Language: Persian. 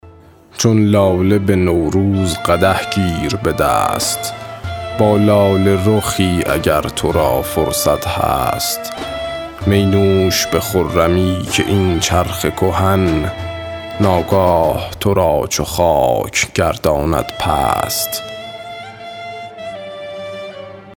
چون لاله به نوروز قدح گیر به دست با لاله رخی اگر تو را فرصت هست می نوش به خرمی که این چرخ کهن ناگاه تو را چو خاک گرداند پست